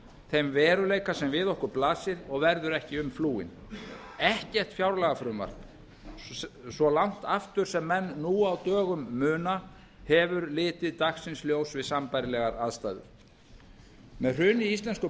þeim veruleika sem við okkur blasir og verður ekki um umflúinn ekkert fjárlagafrumvarp sem langt aftur sem menn nú á dögum muna hefur litið dagsins ljós við sambærilegar aðstæður með hruni íslensku